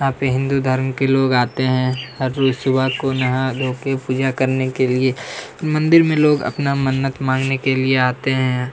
यहाँ पे हिंदू धर्म के लोग आते है हर रोज सुबह को नहा धो के पूजा करने के लिए मंदिर में लोग अपना मन्नत मांगने के लिए आते हैं।